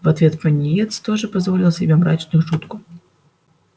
в ответ пониетс тоже позволил себе мрачную шутку